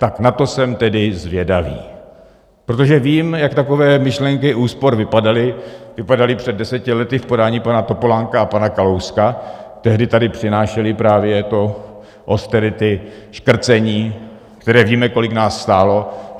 Tak na to jsem tedy zvědavý, protože vím, jak takové myšlenky úspor vypadaly před deseti lety v podání pana Topolánka a pana Kalouska, tehdy tady přinášely právě to austerity, škrcení, které, víme, kolik nás stálo.